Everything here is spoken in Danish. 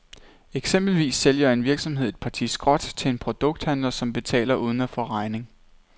Eksempelvis sælger en virksomhed et parti skrot til en produkthandler, som betaler uden at få regning.